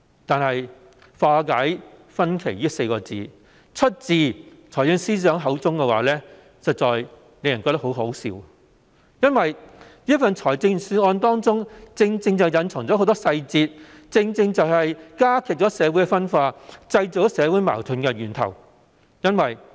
可是，"化解分歧"這4字出自財政司司長口中便實在令人感到很可笑，因為這份預算案正正隱藏很多細節，既會加劇社會分化，也是創造社會矛盾的源頭。